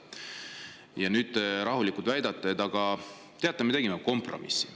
Ja nüüd te rahulikult, et me tegime kompromissi.